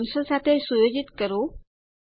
૩૦૦ થી સુયોજિત કરો